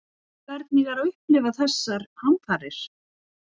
Hvernig er að upplifa þessar hamfarir?